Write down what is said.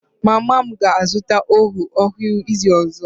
Mama m ga-azụta oven ọhụrụ n'izu ọzọ